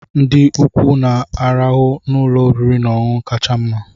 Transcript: Ndị ukwu na-arahụ n'ụlọ oriri na ọṅụṅụ kacha mma.